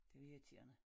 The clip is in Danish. Det irriterende